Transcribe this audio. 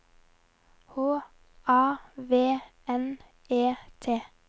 H A V N E T